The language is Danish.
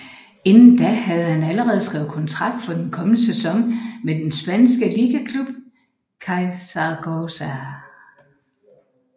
Inden da havde han allerede skrevet kontrakt for den kommende sæson med den spanske ligaklub CAI Zaragoza